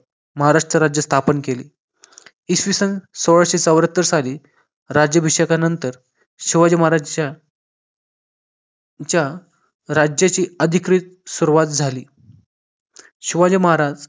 महाराष्ट्र राज्य स्थापन केले इसवी सन सोळाशे चौऱ्याहत्तर साली राज्याभिषेकानंतर शिवाजी महाराजांच्या च्या राज्याची अधिकृत सुरुवात झाली शिवाजी महाराज